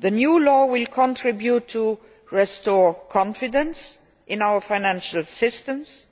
The new law will help restore confidence in our financial systems,